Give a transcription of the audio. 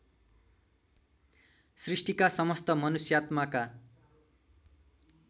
सृष्टिका समस्त मनुष्यात्माका